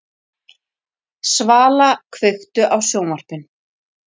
Svala, kveiktu á sjónvarpinu.